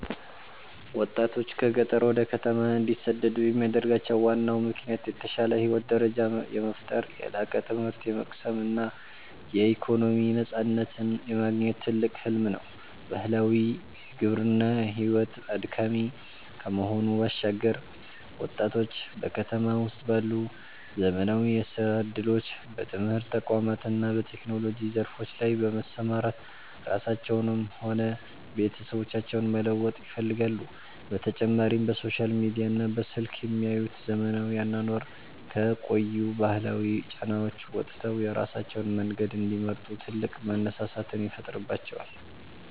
ወጣቶች ከገጠር ወደ ከተማ እንዲሰደዱ የሚያደርጋቸው ዋናው ምክንያት የተሻለ የህይወት ደረጃን የመፍጠር፣ የላቀ ትምህርት የመቅሰም እና የኢኮኖሚ ነፃነትን የማግኘት ትልቅ ህልም ነው። ባህላዊው የግብርና ሕይወት አድካሚ ከመሆኑ ባሻገር፣ ወጣቶች በከተማ ውስጥ ባሉ ዘመናዊ የሥራ ዕድሎች፣ በትምህርት ተቋማት እና በቴክኖሎጂ ዘርፎች ላይ በመሰማራት ራሳቸውንም ሆነ ቤተሰቦቻቸውን መለወጥ ይፈልጋሉ፤ በተጨማሪም በሶሻል ሚዲያና በስልክ የሚያዩት ዘመናዊ አኗኗር ከቆዩ ባህላዊ ጫናዎች ወጥተው የራሳቸውን መንገድ እንዲመርጡ ትልቅ መነሳሳትን ይፈጥርባቸዋል።